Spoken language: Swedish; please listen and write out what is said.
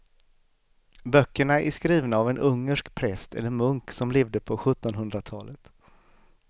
Böckerna är skrivna av en ungersk präst eller munk som levde på sjuttonhundratalet.